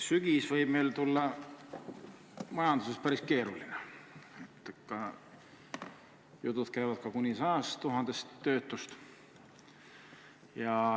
Sügis võib tulla meil majanduses päris keeruline, jutud käivad ka kuni 100 000 töötust.